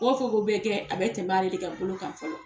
Ko o ko bɛ kɛ a bɛ tɛmɛ ale de ka bolo kan fɔlɔ.